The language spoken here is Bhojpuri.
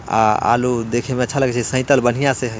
आलू देखे में अच्छा लगथै सेहतल बढ़िया से है--